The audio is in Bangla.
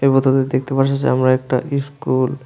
এবং তাদের পারছি যে আমরা একটা ইস্কুল ।